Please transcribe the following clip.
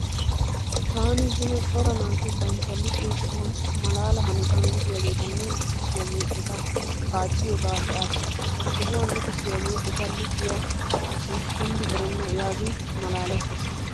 Taani zino cora naati banitta luxiyo sohuwan malaala hanotan luxiyageetanne luxissiyaagee eta paacciyagaa be'aas. He sohuwan luxissiyagee eta luxiya asi kunddi erenna yaagin malaalettaas.